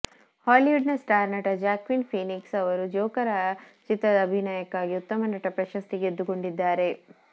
Hollywood ನ star ನಟ Joaquin Phoenix ಅವರು ಜೋಕರ್ ಚಿತ್ರದ ಅಭಿನಯಕ್ಕಾಗಿ ಉತ್ತಮ ನಟ ಪ್ರಶಸ್ತಿ ಗೆದ್ದುಕೊಂಡಿದ್ದಾರೆ